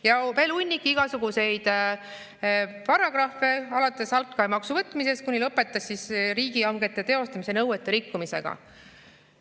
Ja veel hunnik igasuguseid muid paragrahve alates altkäemaksu võtmisest ja lõpetades riigihangete teostamise nõuete rikkumisega.